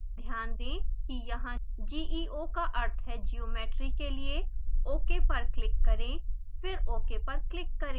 ध्यान दें कि यहाँ geo का अर्थ geometry के लिए है ok पर क्लिक करें फिर ok पर क्लिक करें